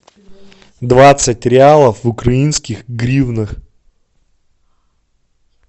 двадцать реалов в украинских гривнах